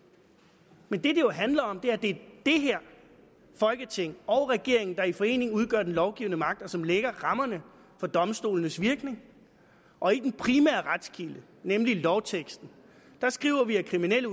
men det jo handler om er at det er det her folketing og regeringen der i forening udgør den lovgivende magt og som lægger rammerne for domstolenes virke og i den primære retskilde nemlig lovteksten skriver vi at kriminelle